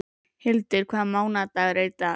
Hildur, hvaða mánaðardagur er í dag?